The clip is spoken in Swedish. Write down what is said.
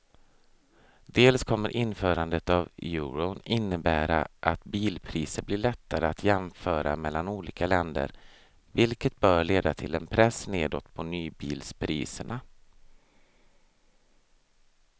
Dels kommer införandet av euron innebära att bilpriser blir lättare att jämföra mellan olika länder vilket bör leda till en press nedåt på nybilspriserna.